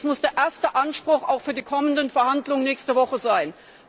Das muss der erste Anspruch auch für die kommenden Verhandlungen nächste Woche sein.